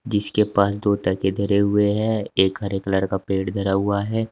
इसके पास दो तकिए धरे हुए हैं एक हरे कलर का पेड़ धरा हुआ है।